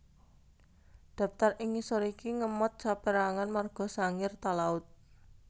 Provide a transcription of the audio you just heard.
Daptar ing ngisor iki ngemot saperangan marga Sangir Talaud